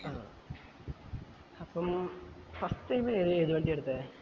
ആഹ് അപ്പം first time ഏത് ഏത് വണ്ടിയാ എടുത്തേ